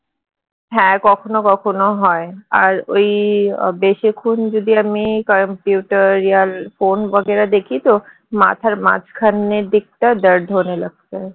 হ্যাঁ কখনও কখনও হয় আর ওই বেশিক্ষন যদি আমি computer phone দেখি তো মাথার মাঝখানের দিকটা